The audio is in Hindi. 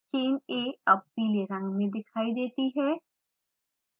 चेन a अब पीले रंग में दिखाई देती है